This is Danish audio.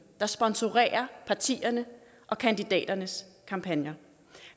der sponsorerer partierne og kandidaternes kampagner